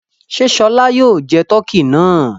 Ṣé Ṣọlá yóò jẹ tọkí náà?